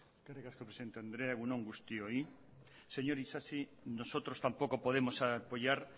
eskerrik asko presidente andrea egun on guztioi señor isasi nosotros tampoco podemos apoyar